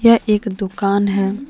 यह एक दुकान है।